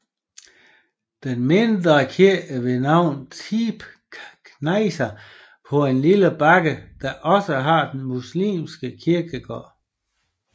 Den mindre kirke ved navn Tepe knejser på lille bakke der også har den muslimske kirkegård